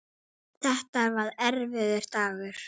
Þetta var erfiður dagur.